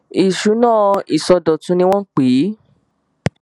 ìṣúná ìsọdọtun ni wọn pè é